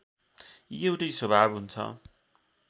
एउटै स्वभाव हुन्छ